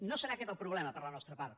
no serà aquest el problema per la nostra part